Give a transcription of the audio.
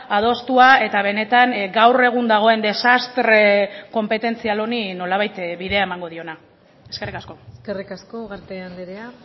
adostua eta benetan gaur egun dagoen desastre konpetentzial honi nolabait bidea emango diona eskerrik asko eskerrik asko ugarte andrea